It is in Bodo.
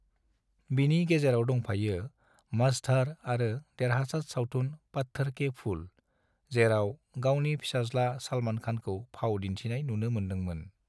बिनि गेजेराव दंफायो मझधार आरो देरहासाद सावथुन पत्थर के फूल, जेराव गावनि पिसाज्ला सलमान खान खौ फाव दिनथिनाय नुनो मोनदों मोन ।